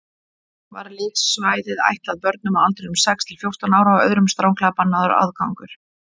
Var leiksvæðið ætlað börnum á aldrinum sex til fjórtán ára og öðrum stranglega bannaður aðgangur.